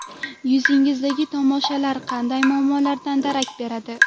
Yuzingizdagi toshmalar qanday muammolardan darak beradi?.